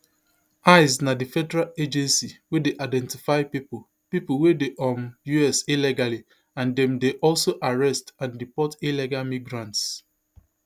ice na di federal agency wey dey identify pipo pipo wey dey um us illegally and dem dey also arrest and deport illegal migrants